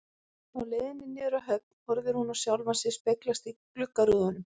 Á leiðinni niður að höfn horfir hún á sjálfa sig speglast í gluggarúðunum.